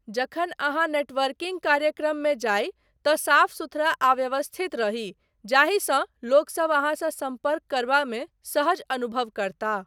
जखन अहाँ नेटवर्किंग कार्यक्रममे जाइ तँ साफ सुथरा आ व्यवस्थित रही जाहिसँ लोकसब अहाँसँ सम्पर्क करबामे सहज अनुभव करताह।